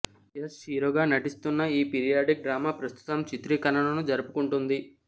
యష్ హీరోగా నటిస్తున్న ఈ పీరియాడిక్ డ్రామా ప్రస్తుతం చిత్రీకరణను జరుపుకుంటుంది